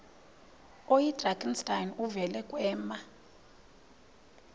oyidrakenstein uvele kwema